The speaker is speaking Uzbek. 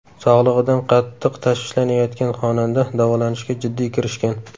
Sog‘lig‘idan qattiq tashvishlanayotgan xonanda davolanishga jiddiy kirishgan.